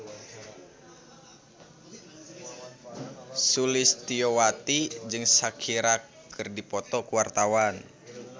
Sulistyowati jeung Shakira keur dipoto ku wartawan